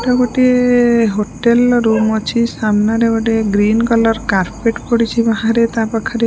ଏଟା ଗୋଟିଏ ହୋଟେଲ ର ରୁମ ଅଛି। ସାମ୍ନାରେ ଗୋଟେ ଗ୍ରୀନ କଲର କର୍ପେଟ ପଡ଼ିଛି ବାହାରେ ତାପାଖରେ।